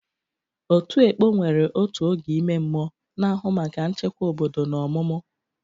Otu "Ekpo" nwere otu oge ime mmụọ, na-ahụ maka nchekwa obodo na ọmụmụ.